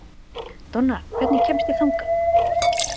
Donna, hvernig kemst ég þangað?